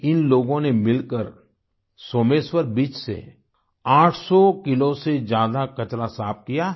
इन लोगों ने मिलकर सोमेश्वर बीच से 800 किलो से ज्यादा कचरा साफ किया है